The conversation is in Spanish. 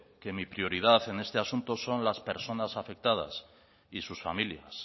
que mi prioridad en este asunto son las personas afectadas y sus familias